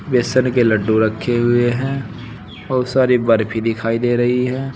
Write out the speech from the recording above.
बेसन के लड्डू रखें हुये हैं बहुत सारी बरफी दिखायी दे रहीं हैं।